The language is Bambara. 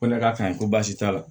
Ko ne k'a ka ɲi ko baasi t'a la